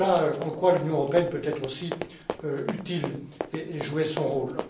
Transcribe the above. Voilà en quoi l'Union européenne peut être aussi utile et jouer son rôle.